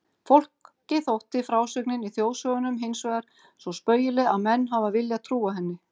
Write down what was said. Fólki þótti frásögnin í þjóðsögunum hinsvegar svo spaugileg að menn hafa viljað trúa henni.